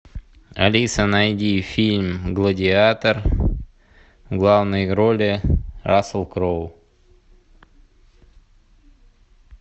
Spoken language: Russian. алиса найди фильм гладиатор в главной роли рассел кроу